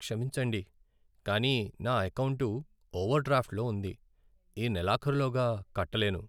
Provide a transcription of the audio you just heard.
క్షమించండి, కానీ నా ఎకౌంటు ఓవర్డ్రాఫ్ట్లో ఉంది, ఈ నెలాఖరులోగా కట్టలేను.